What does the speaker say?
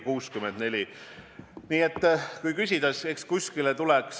Mul on küsimus: millest tingituna on otsustatud, et kuni sada inimest võib koos käia?